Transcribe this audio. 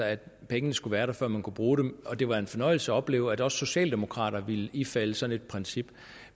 at pengene skulle være der før man kunne bruge dem og det var en fornøjelse at opleve at også socialdemokraterne ville ifalde sådan et princip